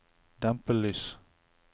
dempede lys